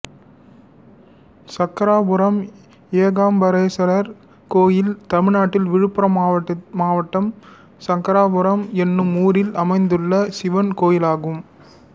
சக்கராபுரம் ஏகாம்பரேஸ்வரர் கோயில் தமிழ்நாட்டில் விழுப்புரம் மாவட்டம் சக்கராபுரம் என்னும் ஊரில் அமைந்துள்ள சிவன் கோயிலாகும்